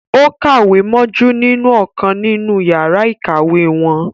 Ó kàwé mójú nínú ọ̀kan nínú yàrá ìkàwé wọn